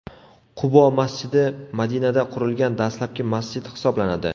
Qubo masjidi Madinada qurilgan dastlabki masjid hisoblanadi.